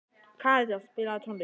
Karítas, spilaðu tónlist.